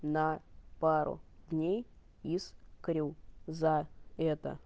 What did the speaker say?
на пару дней из крю за это